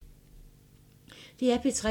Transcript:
DR P3